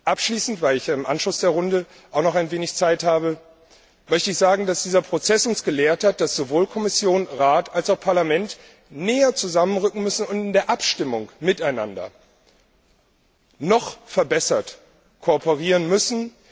Abschließend, weil ich ja im Anschluss an die Runde auch noch ein wenig Zeit habe, möchte ich sagen, dass dieser Prozess uns gelehrt hat, dass sowohl Kommission, Rat als auch Parlament näher zusammenrücken müssen und in der Abstimmung noch besser miteinander kooperieren müssen.